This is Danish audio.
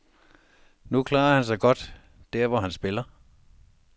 Nu klarer han sig godt, der hvor han spiller.